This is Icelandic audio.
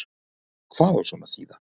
Hvað á svona að þýða